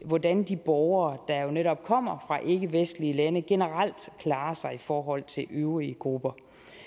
hvordan de borgere der jo netop kommer fra ikkevestlige lande generelt klarer sig i forhold til øvrige grupper